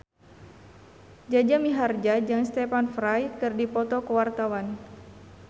Jaja Mihardja jeung Stephen Fry keur dipoto ku wartawan